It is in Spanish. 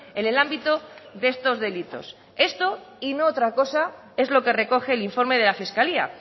en el ámbito de estos delitos esto y no otra cosa es lo que recoge el informe de la fiscalía